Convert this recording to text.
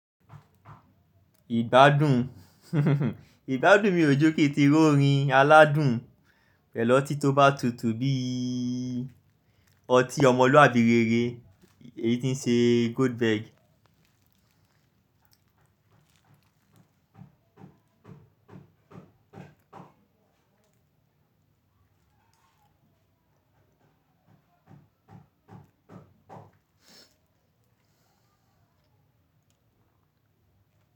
Ìgbádùn, ìgbádùn mi ò jọ́ kí tí ro orin aládùn pẹ̀lú oti tó bá tutù bí ọtí ọmọlúàbí rere, èyí tí ń ṣe Goldberg.